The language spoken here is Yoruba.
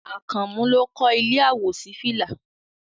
Àkànmú ló kọ́ ilé àwòṣífìlà